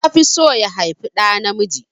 Ta fi so ya haifi ɗa namiji